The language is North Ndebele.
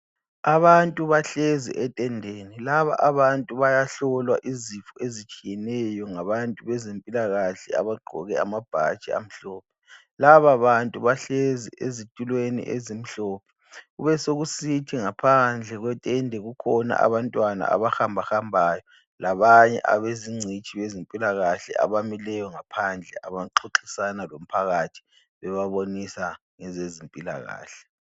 Abantu bahlezi etendeni laba abantu bayahlolwa izifo ezitshiyeneyo ngabantu bezempilakahle abagqoke amabhatshi amhlophe. Lababantu bahlezi ezitulweni ezimhlophe kubesokusithi ngaphandle kwetende kukhona abantwana abahambahambayo labanye abezingcitshi zempilakahle abamileyo ngaphandle baxoxisana lomphakathi bebabonisa ngezempilakahle